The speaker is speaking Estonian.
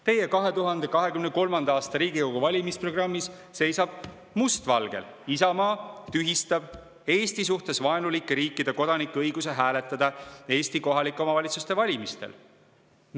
Teie 2023. aasta Riigikogu valimiste programmis seisab must valgel, et Isamaa tühistab Eesti suhtes vaenulike riikide kodanike õiguse hääletada Eesti kohalike omavalitsuste valimistel.